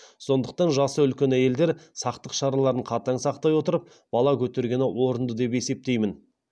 сондықтан жасы үлкен әйелдер сақтық шараларын қатаң сақтай отырып бала көтергені орынды деп есептеймін